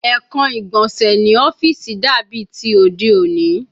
Ekan igbonse ni ọfiisi dabi ti ode oni